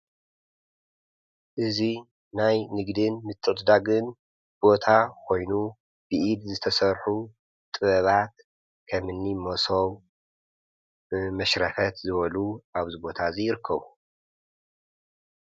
እዙይ ናይ ንግድን ምትዕድዳግን ቦታ ኾይኑ ብኢድ ዝተሠርሑ ጥበባት ከምኒ ሞሶብ መሽረፈት ዝበሉ ኣብዚ ቦታ እዙይ ይርከቡ።